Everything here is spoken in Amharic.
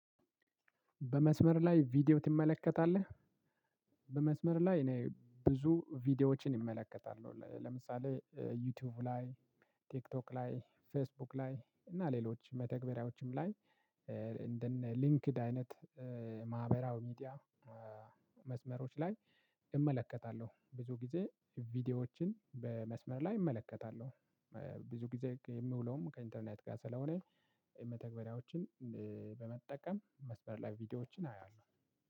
በመስመር ላይ ቪዲዮ ትመለከታለህ? በመስመር ላይ እኔ ብዙ ቪዲዮዎችን እመለከታለሁ። ለምሳሌ ዩቲዩብ ላይ ቲክቶክ ላይ ፌስቡክ ላይ እና ሌሎች መተግበሪያዎችም ላይ እንደነ ሊንክድ አይነት ማህበራዊ ሚዲያ መስመሮች ላይ እመለከታለሁ ብዙ ጊዜ ቪዲዮዎችን በመስመር ላይ እመለከታለሁ። ብዙ ጊዜ የምውለውም ከኢንተርኔት ጋር ስለሆነ የመተግበሪያዎችን በመጠቀም መስመር ላይ ቪዲዮዎችን አያለሁ።